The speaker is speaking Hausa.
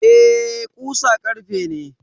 Eh, ƙusa ƙarfe ne.